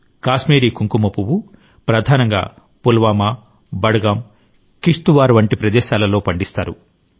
కాశ్మీరీ కుంకుమ పువ్వు ప్రధానంగా పుల్వామా బడ్ గాం కిష్త్ వార్ వంటి ప్రదేశాలలో పండిస్తారు